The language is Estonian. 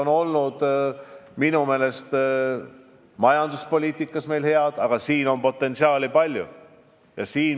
Kahepoolsed suhted majanduspoliitikas on meil head olnud, aga potentsiaali on veel palju.